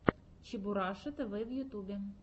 чебураша тв в ютубе